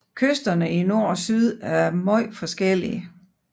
Kysterne i nord og syd er meget forskellige